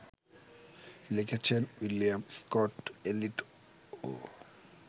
লিখেছেন উইলিয়াম স্কট-এলিয়ট-ও